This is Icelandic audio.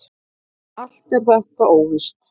Allt er þetta óvíst.